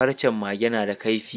Farcen Mage nada kaifi